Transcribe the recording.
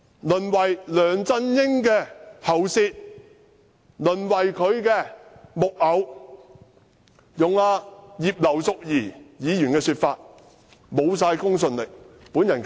淪為梁振英的喉舌、淪為他的木偶；用葉劉淑儀議員的說法，就是完全沒有公信力。